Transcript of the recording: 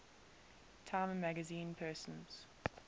time magazine persons